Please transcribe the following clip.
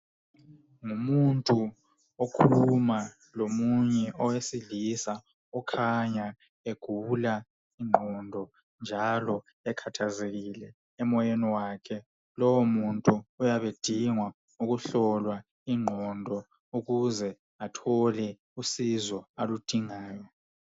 Ngumuntu okhuluma lomunye owesilisa okhanya egula iqondo, njalo ekathazekile emoyeni wakhe. Lo muntu uyabe edingwa ukuhlolwa iqondo ukuze athole usizo aludingayo.